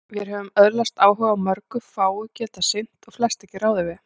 Vér höfum öðlast áhuga á mörgu, fáu getað sinnt og flest ekki ráðið við.